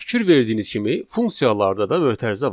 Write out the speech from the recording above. Fikir verdiyiniz kimi funksiyalarda da mötərizə var.